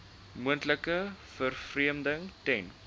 moontlike vervreemding ten